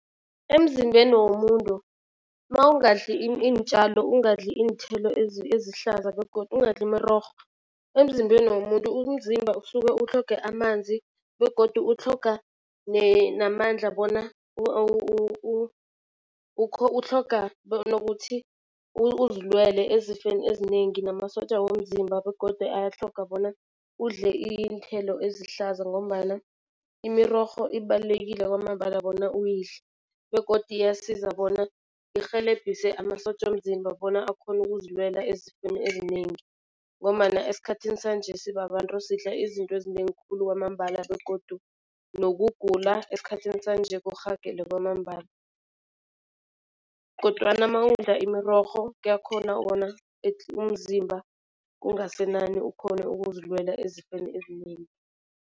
Emzimbeni womuntu mawungadli iintjalo, ungadli iinthelo ezihlaza begodu ungadli imirorho emzimbeni womuntu. Umzimba usuke utlhoge amanzi begodu utlhoga namandla bona utlhoga nokuthi uzilwele ezifeni ezinengi namasotja womzimba begodu ayatlhoga bona udle iinthelo ezihlaza ngombana imirorho ibalulekile kwamambala bona uyidle. Begodu iyasiza bona irhelebhise amasotja womzimba bona akhone ukuzilwela ezifeni ezinengi ngombana esikhathini sanje sibabantu sidla izinto ezinengi khulu kwamambala begodu nokugula esikhathini sanje kurhagele kwamambala. Kodwana mawudla imirorho kuyakhona bona umzimba kungasenani ukhone ukuzilwela ezifeni ezinengi.